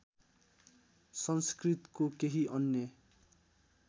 संस्कृतको केही अन्य